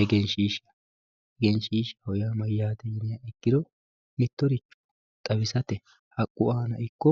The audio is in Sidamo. Egenshiishsha, egenshiishshaho yaa mayyate yiniha ikkiro mittoricho xawisate haqqu aana ikko